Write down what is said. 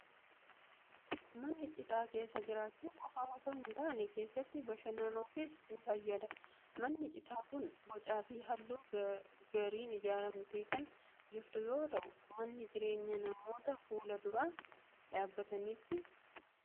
Manni citaa keessa jiraachuu qofaaf osoo hin taane, keessatti bashannanuufis ni fayyada. Manni citaa kun bocaa fi haala gaariin ijaaramtee kan jirtu yoo ta'u, mana jireenya namoota fuula dura dhaabbataniiti.